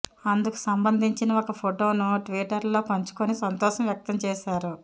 అందుకు సంబంధించిన ఒక ఫొటోను ట్విటర్లో పంచుకొని సంతోషం వ్యక్తం చేశారు